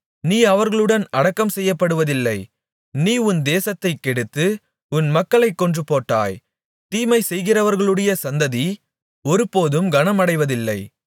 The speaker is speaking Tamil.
நீ அவர்களுடன் அடக்கம் செய்யப்படுவதில்லை நீ உன் தேசத்தைக் கெடுத்து உன் மக்களைக் கொன்றுபோட்டாய் தீமைசெய்கிறவர்களுடைய சந்ததி ஒருபோதும் கனமடைவதில்லை